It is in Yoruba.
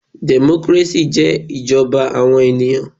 Democracy jẹ́ ìjọba àwọn ènìyàn.